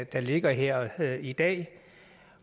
der ligger her i dag